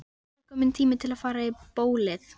Loks er kominn tími til að fara í bólið.